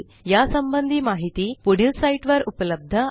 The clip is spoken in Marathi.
यासंबंधी माहिती पुढील साईटवर उपलब्ध आहे